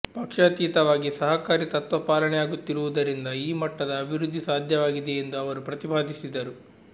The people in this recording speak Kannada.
ಪಕ್ಷಾತೀತವಾಗಿ ಸಹಕಾರಿ ತತ್ವ ಪಾಲನೆಯಾಗುತ್ತಿರುವುದರಿಂದ ಈ ಮಟ್ಟದ ಅಭಿವೃದ್ಧಿ ಸಾಧ್ಯವಾಗಿದೆ ಎಂದು ಅವರು ಪ್ರತಿಪಾದಿಸಿದರು